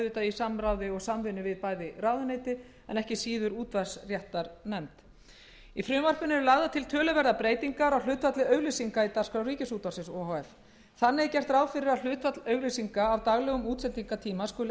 samráði og samvinnu við bæði ráðuneytið en ekki síður útvarpsréttarnefnd í frumvarpinu eru lagðar til töluverðar breytingar á hlutfalli auglýsinga í dagskrá ríkisútvarpsins o h f þannig er gert ráð fyrir að hlutfall auglýsinga af daglegum útsendingartíma skuli